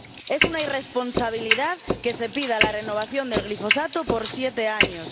Es una irresponsabilidad que se pida la renovación del glifosato por siete años.